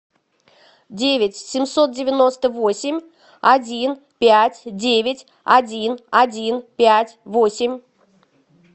девять семьсот девяносто восемь один пять девять один один пять восемь